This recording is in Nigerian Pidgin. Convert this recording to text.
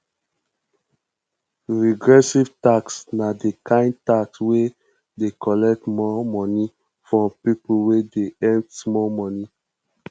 regressive tax na di kind tax wey dey collect more money from pipo wey dey earn small money